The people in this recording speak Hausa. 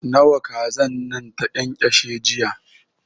Nawa kazan nan ta ƙyanƙyashe jiya?